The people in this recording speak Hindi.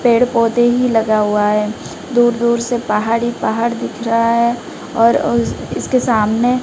पेड़ पौधे ही लगा हुआ है। दूर दूर से पहाड़ ही पहाड़ दिख रहा है और उस इसके सामने--